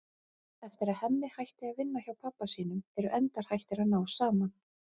Eftir að Hemmi hætti að vinna hjá pabba sínum eru endar hættir að ná saman.